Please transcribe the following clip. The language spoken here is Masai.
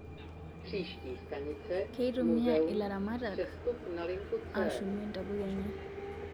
Keitumia ilaramatak .....ashumie ntapuka enye